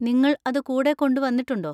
നിങ്ങൾ അത് കൂടെ കൊണ്ടുവന്നിട്ടുണ്ടോ?